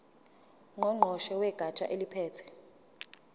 ngqongqoshe wegatsha eliphethe